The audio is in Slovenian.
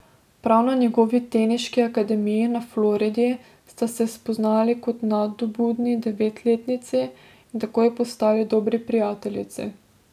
Prav na njegovi teniški akademiji na Floridi sta se spoznali kot nadobudni devetletnici in takoj postali dobri prijateljici.